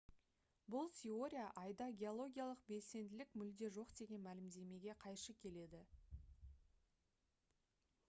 бұл теория айда геологиялық белсенділік мүлде жоқ деген мәлімдемеге қайшы келеді